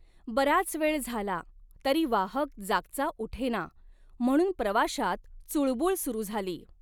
बराच वेळ झाला, तरी वाहक जागचा उठेना, म्हणून प्रवाशांत चुळबूळ सुरू झाली.